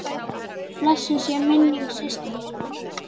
Blessuð sé minning systur minnar.